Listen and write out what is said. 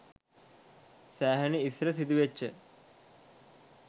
සෑහෙන ඉස්සර සිදුවෙච්ච